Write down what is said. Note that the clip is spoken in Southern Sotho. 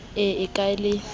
e e a ke le